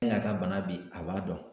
min y'a ka bana bi a b'a dɔn